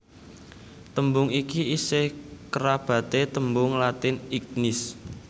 Tembung iki isih kerabaté tembung Latin ignis